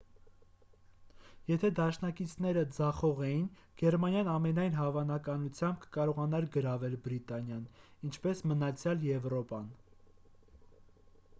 եթե դաշնակիցները ձախողեին գերմանիան ամենայն հավանականությամբ կկարողանար գրավել բրիտանիան ինչպես մնացյալ եվրոպան